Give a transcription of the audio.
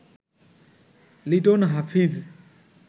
Liton Hafiz